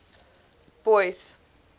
boyce